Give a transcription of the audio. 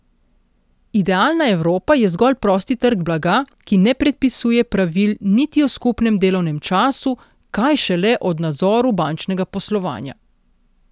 Idealna Evropa je zgolj prosti trg blaga, ki ne predpisuje pravil niti o skupnem delovnem času, kaj šele o nadzoru bančnega poslovanja.